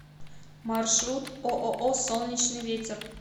маршрут ооо солнечный ветер